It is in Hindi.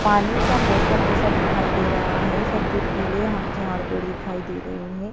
पानी का मौसम जैसा दिखाई दे रहा है सब दुर्गीले हां झाड़ पेड़ दिखाई दे रहे हैं।